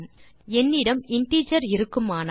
என்னிடம் இன்டிஜர் இருக்குமானால்